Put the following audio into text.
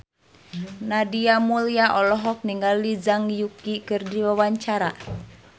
Nadia Mulya olohok ningali Zhang Yuqi keur diwawancara